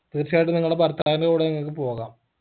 തീർച്ചയായിട്ടും നിങ്ങടെ ഭർത്താവിൻറെ കൂടെ നിങ്ങക്ക് പോകാം